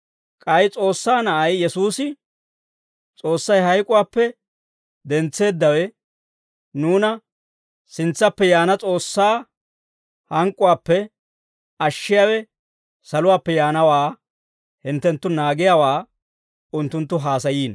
K'ay S'oossaa Na'ay Yesuusi, S'oossay hayk'uwaappe dentseeddawe, nuuna sintsaappe yaana S'oossaa hank'k'uwaappe ashshiyaawe saluwaappe yaanawaa hinttenttu naagiyaawaa unttunttu haasayiino.